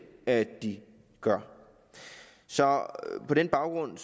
at de gør så på den baggrund